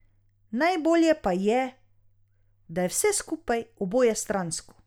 Najbolje pa je, da je vse skupaj obojestransko.